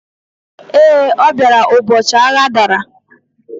Ee, ọ bịara ụbọchị agha dara